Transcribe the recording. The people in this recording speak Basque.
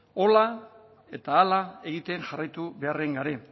hola eta hala egiten jarraitu beharren gare